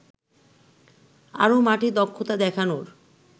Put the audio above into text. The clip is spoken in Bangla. আরও মাঠে দক্ষতা দেখানোর